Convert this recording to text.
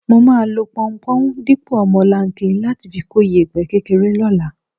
Mo máa lo pọunpọ̀n dípò omolanke láti fi kó ìyẹ̀pẹ̀ kékeré lọ́la.